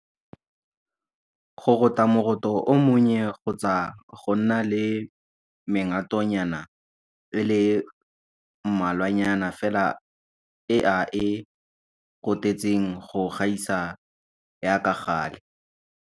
Go rota moroto o monnye kgotsa go nna le mengatonyana e le mmalwanyana fela e a e rotetseng go gaisa ya ka gale.